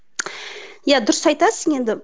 иә дұрыс айтасың енді